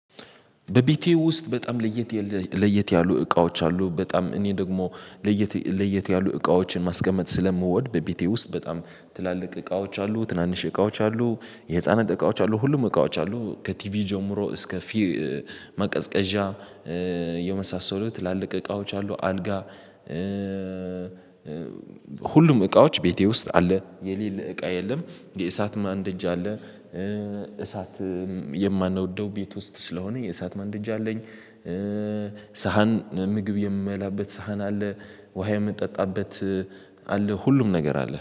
በብቲው ውስጥ በጣም ለየት ለየት ያሉ እቃዎች አሉ። በጣም እኔ ደግሞ ለየት ለየት ያሉ እቃዎችን ማስቀመጥ ስለምወድ በቤቴ ውስጥ በጣም ትላልቅ እቃዎች አሉ። ትናንሽ እቃዎች አሉ። የህፃነት እቃዎች አሉ ሁሉም እቃዎች አሉ። ከቲቪ ጀምሮ እስከ ማቀዝቀዣ የመሳሰሉት ትላልቅ እቃዎች አሉ። አልጋ ሁሉም እቃዎች ቤቴ ውስጥ አለ። የሌለ እቃ የለም። የእሳት ማንደጃ አለ። እሳት የማነደው ቤት ውስጥ ስለሆነ የእሳት ማንደጃ አለኝ። ሳህን ምግብ የምላበት ሳህን አለ። ውሃ የምጠጣበት አለ ሁሉም ነገር አለ